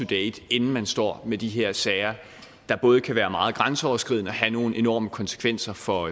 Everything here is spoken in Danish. date inden man står med de her sager der både kan være meget grænseoverskridende og have nogle enorme konsekvenser for